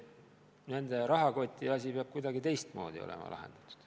Nende rahakoti probleem peab kuidagi teistmoodi olema lahendatud.